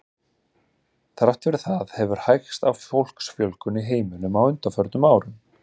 Þrátt fyrir það hefur hægst á fólksfjölgun í heiminum á undanförnum árum.